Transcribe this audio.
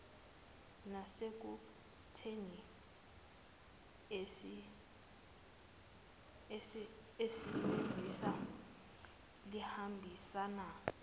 nasekutheni isisebenzi sihambisane